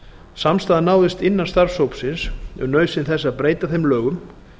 samstaða náðist innan starfshópsins um nauðsyn þess að breyta þeim lögum